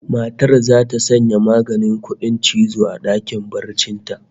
Matar zata sanya maganin kudin cizo a dakin barcin ta